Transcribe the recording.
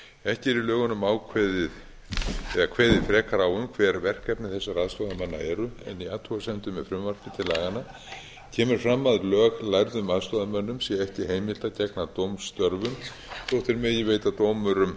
ekki er í lögunum kveðið frekar á um hver verkefni þessara aðstoðarmanna eru en í athugasemdum við frumvarpið til laganna kemur fram að löglærðum aðstoðarmönnum sé ekki heimilt að gegna dómstörfum þótt þeir megi veita dómurum